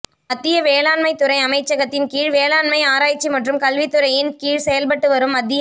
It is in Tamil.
மத்திய வேளாண்மை துறை அமைச்சகத்தின் கீழ் வேளாண்மை ஆராய்ச்சி மற்றும் கல்வித் துறையின் கீழ் செயல்பட்டு வரும் மத்திய